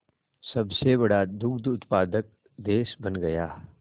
सबसे बड़ा दुग्ध उत्पादक देश बन गया